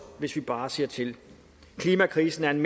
hvis vi bare ser til klimakrisen er en